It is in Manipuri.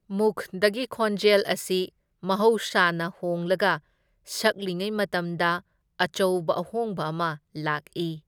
ꯃꯨꯈꯗꯒꯤ ꯈꯣꯟꯖꯦꯜ ꯑꯁꯤ ꯃꯍꯧꯁꯥꯅ ꯍꯣꯡꯂꯒ ꯁꯛꯂꯤꯉꯩ ꯃꯇꯝꯗ ꯑꯆꯧꯕ ꯑꯍꯣꯡꯕ ꯑꯃ ꯂꯥꯛꯏ꯫